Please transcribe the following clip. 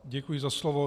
Děkuji za slovo.